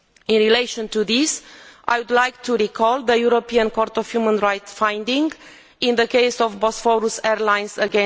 In relation to this, I would like to recall the European Court of Human Rights' finding in the case of Bosphorus Airlines vs.